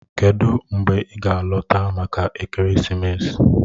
Kedụ mgbe ị ga-alọta maka ekeresimesi?